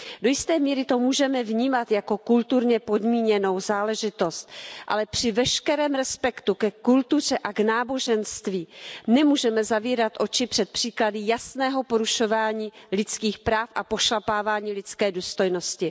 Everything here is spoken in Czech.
Do jisté míry to můžeme vnímat jako kulturně podmíněnou záležitost, ale při veškerém respektu ke kultuře a k náboženství nemůžeme zavírat oči před příklady jasného porušování lidských práv a pošlapávání lidské důstojnosti.